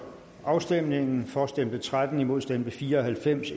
afstemningen for stemte tretten imod stemte fire og halvfems